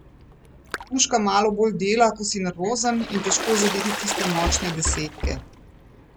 Puška malo bolj dela, ko si nervozen, in težko je zadeti tiste močne desetke.